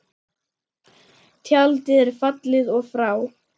Tjaldið er fallið og frá.